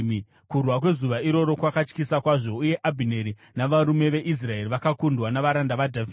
Kurwa kwezuva iroro kwakatyisa kwazvo, uye Abhineri navarume veIsraeri vakakundwa navaranda vaDhavhidhi.